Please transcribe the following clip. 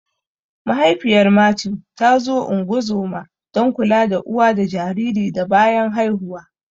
Mahaifiyar Mathew ta zo ungozoma (don kula da uwa da jariri da bayan haihuwa)